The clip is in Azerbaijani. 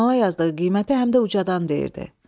Jurnala yazdığı qiyməti həm də ucadan deyirdi.